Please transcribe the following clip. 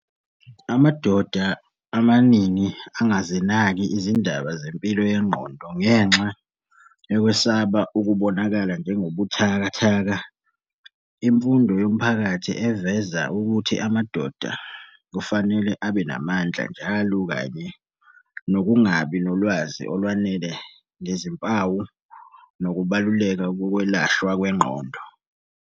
Amadoda amaningi angazinaki izindaba zempilo yengqondo ngenxa yokwesaba ukubonakala njengobuthakathaka. Imfundo yomphakathi eveza ukuthi amadoda kufanele abe namandla njalo kanye nokungabi nolwazi olwanele ngezimpawu nokubaluleka kokwelashwa kwengqondo.